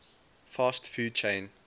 fast food chain